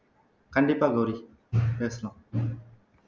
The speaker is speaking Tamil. கண்டிப்பா கௌரி பேசலாம்